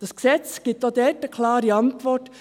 Dieses Gesetz gibt auch darauf eine klare Antwort.